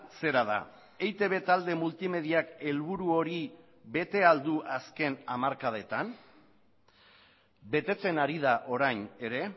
zera da eitb talde multimediak helburu hori bete ahal du azken hamarkadetan betetzen ari da orain ere